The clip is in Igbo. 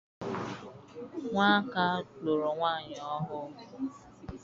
Nwaka lụrụ nwaanyị ọhụụ.